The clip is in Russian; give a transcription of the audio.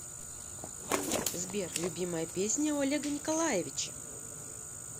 сбер любимая песня у олега николаевича